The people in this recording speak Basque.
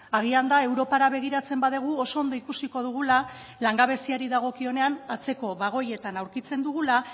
agian da europara begiratzen badugu oso ondo ikusiko dugula langabeziari dagokionean atzeko bagoietan aurkitzen dugula